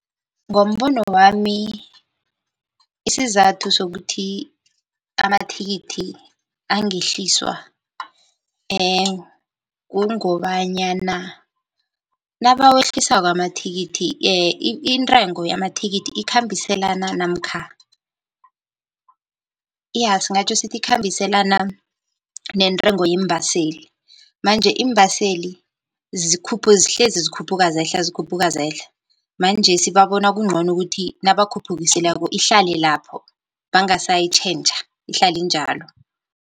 Ngombono wami isizathu sokuthi amathikithi angehliswa kungobanyana nabawehlisako amathikithi intengo yamathikithi ikhambiselana namkha, iya singatjho sithi ikhambiselana nentengo yeembaseli. Manje iimbaseli zihlezi zikhuphuka zehla zikhuphuka zehla manjesi babona kuncono kuthi nabakhuphukisileko ihlale lapho bangasayitjhentjha ihlale injalo.